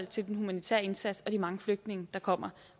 til den humanitære indsats og de mange flygtninge der kommer